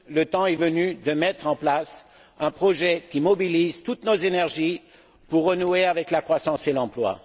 Le temps est venu de mettre en place un projet qui mobilise toutes nos énergies pour renouer avec la croissance et l'emploi.